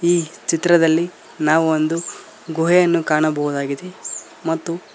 ಈ ಚಿತ್ರದಲ್ಲಿ ನಾವು ಒಂದು ಗುಹೆಯನ್ನು ಕಾಣಬಹುದಾಗಿದೆ ಮತ್ತು.